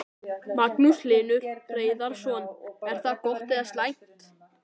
Magnús Hlynur Hreiðarsson: Er það gott eða slæmt?